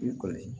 I kɔni